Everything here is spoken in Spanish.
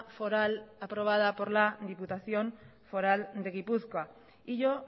foral aprobada por la diputación foral de gipuzkoa y yo